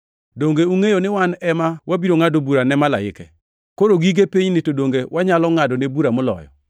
Donge ungʼeyo ni wan ema wabiro ngʼado bura ne malaike? Koro gige pinyni to donge wanyalo ngʼadone bura moloyo!